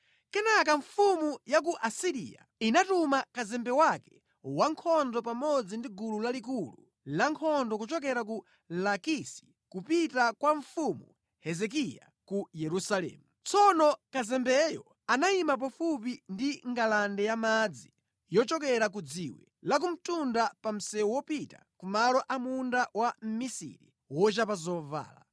Kenaka mfumu ya ku Asiriya inatuma kazembe wake wankhondo pamodzi ndi gulu lalikulu lankhondo kuchokera ku Lakisi kupita kwa mfumu Hezekiya ku Yerusalemu. Tsono kazembeyo anayima pafupi ndi ngalande yamadzi yochokera ku Dziwe lakumtunda pa msewu wopita ku malo a munda wa mmisiri wochapa zovala.